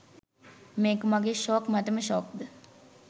මේක මගේ ෂෝක් මටම ෂෝක්ද?